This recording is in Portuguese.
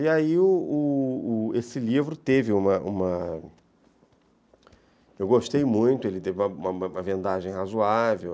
E aí o o o esse livro teve uma... Eu gostei muito, ele teve uma uma uma vendagem razoável.